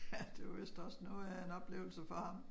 Ja det var vist også noget af en oplevelse for ham